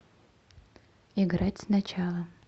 играть сначала